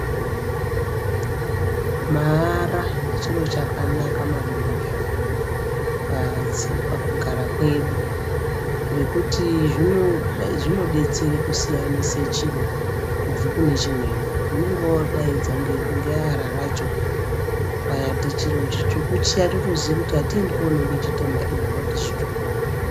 Maara chiro chakanaka maningi pakugara kwedu ngekuti zvinodetsere kusiyanise chiro kubve kune chimweni. Unenge wodaidza ngeara racho. Ukanyati chiro chitsvuku chiya totoziye kuti hatiendi kononge chitema iwe wati chitsvuku.